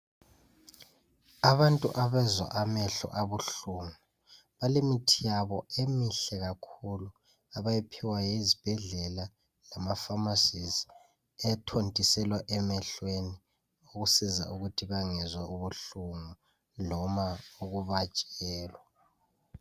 Abantu abazwa amehlo abuhlungu balemithi yabo emihle kakhulu abayiphiwa ezibhedlela lemafamasizi ethontiselwa emehlweni ukusiza ukuthi bengezwa ubuhlungu loba ukubatshelwa.